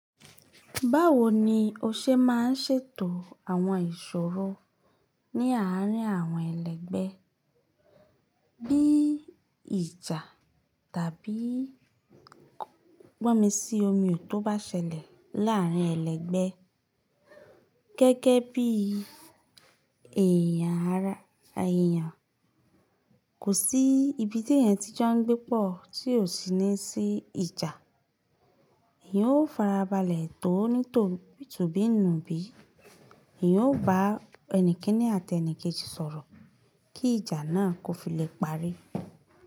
Báwo ni o ṣe má n ṣètò àwọn ìṣòro ní àárín àwọn ẹlẹgbẹ́ bí ìjà tàbí gbọ́mi sí omiò tó bá ṣẹlẹ̀ láàárín ẹlẹgbẹ́ gẹ́gẹ́ bí èèyàn ara èèyàn? Kò sí ibi tí èèyàn tí jẹ́ ń gbé pọ̀ tí ò sí ní sí ìjà. Èèyàn ó farabalẹ̀ tò ó ní tò bí tò bí nù bí. Èèyàn ó bá ẹnìkíní àti ẹnìkejì sọ̀rọ̀ kí ìjà náà kó fi lè parí.